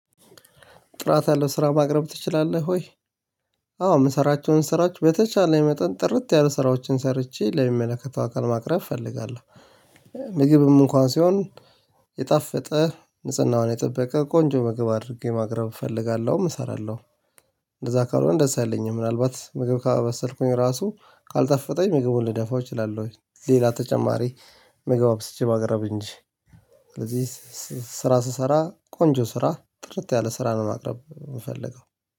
ጥራት ያለው ስራ ማቅረብ ትችላለህ ወይ? አዎ የምሰራቸውን ስራዎች በተቻለኝ መጠን ጥርት ያሉ ስራዎችን ሰርቼ ለሚመለከተው አካል ማቅረብ እፈልጋለሁ። ምግብም እንኳን ሲሆን የጣፈጠ ንጽህናውን የጠበቀ ቆንጆ ምግብ አድርጌ ማቅረብ እፈልጋለሁ እሰራለሁ። እንደዛ ካልሆነ ደስ አይለኝም ምናልባት ምግብ ካመሰልኩኝ ራሱ ካልጠፈጠኝ ምግቡን ልደፋው እችላለሁ። ሌላ ተጨማሪ ምግብ ስቼ ባቀረብኝ እንጂ። ስራ ስሰራ ቆንጆ ስራ ጥርት ያለ ስራ ነው ማቅረብ የምፈልገው